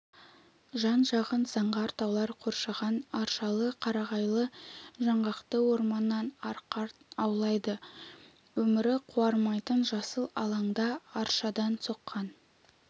жан-жағын заңғар таулар қоршаған аршалы қарағайлы жаңғақты орманнан арқар аулайды өмірі қуармайтын жасыл алаңда аршадан соққан